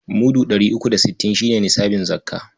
Mudu ɗari uku da sittin shi ne nisabin zakka..